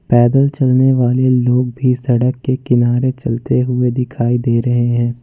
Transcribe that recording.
पैदल चलने वाले लोग भी सड़क के किनारे चलते हुए दिखाई दे रहे हैं।